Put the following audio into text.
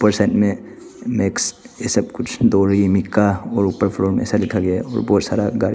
और ये साइड में मिक्स ये सब कुछ डोरबी मीका और ऊपर फ्लोर में ऐसा लिखा गया है और बहुत सारा गाड़ी --